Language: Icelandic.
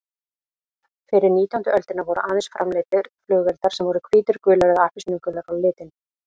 Fyrir nítjándu öldina voru aðeins framleiddir flugeldar sem voru hvítir, gulir eða appelsínugulir á litinn.